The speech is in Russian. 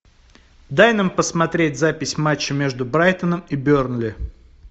дай нам посмотреть запись матча между брайтоном и бернли